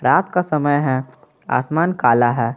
रात का समय है आसमान काला है।